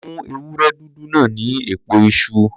Fún ewúré dúdú náà ní èpo iṣu.